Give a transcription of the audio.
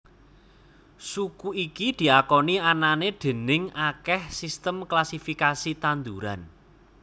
Suku iki diakoni anané déning akèh sistem klasifikasi tanduran